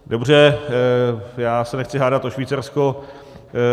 Dobře, já se nechci hádat o Švýcarsko.